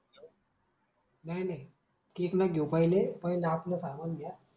काही नाही केक ला घेऊ पहिले, पहिले आपल सामान घ्या.